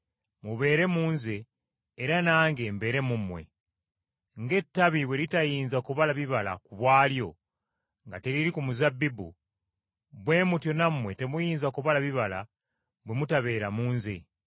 mubeere mu Nze era nange mbeere mu mmwe. Ng’ettabi bwe litayinza kubala bibala ku bwalyo nga teriri ku muzabbibu, bwe mutyo nammwe temuyinza kubala bibala bwe mutabeera mu Nze.